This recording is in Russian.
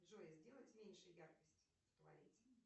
джой сделать меньше яркость в туалете